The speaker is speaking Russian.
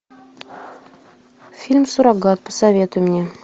фильм суррогат посоветуй мне